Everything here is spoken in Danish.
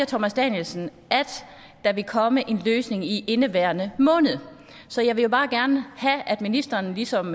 thomas danielsen at der vil komme en løsning i indeværende måned så jeg vil bare gerne have at ministeren ligesom